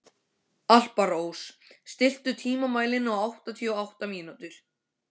Alparós, stilltu tímamælinn á áttatíu og átta mínútur.